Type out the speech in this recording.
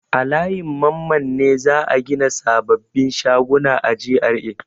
A layin Mamman ne za a gina sababbin shaguna a GRA.